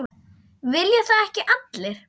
Vilja það ekki allir?